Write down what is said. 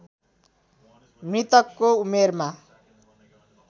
मृतकको उमेरमा